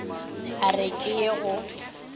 e re ke ye go